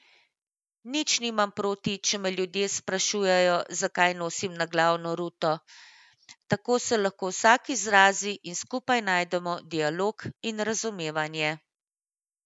Nič nimam proti, če me ljudje sprašujejo, zakaj nosim naglavno ruto, tako se lahko vsak izrazi in skupaj najdemo dialog in razumevanje.